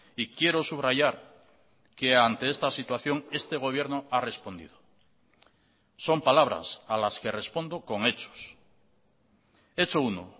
y quiero subrayar que ante esta situación este gobierno ha respondido son palabras a las que respondo con hechos hecho uno